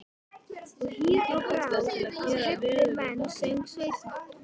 Og hýr á brá og heillar menn, söng Sveinn.